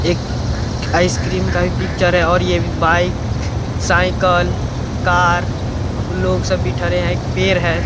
एक आइसक्रीम का भी पिक्चर है और यह बाइक साइकिल कार ब लोग सभी भी थड़े है। एक पेड़ है।